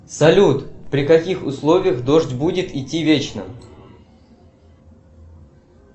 салют при каких условиях дождь будет идти вечно